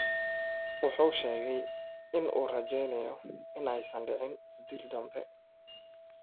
Wuxuu sheegay in uu rajaynayo in aysan dhicin dil dambe.